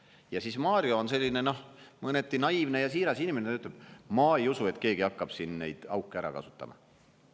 Ja Mario on selline, mõneti naiivne ja siiras inimene, ta ütleb: "Ma ei usu, et keegi hakkab siin neid auke ära kasutama.